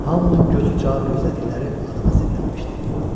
Hamının gözü cavab gözlədikləri adama sirlənmişdi.